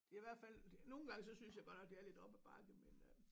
Det i hvert fald nogle gange så synes jeg godt nok det er lidt op ad bakke men øh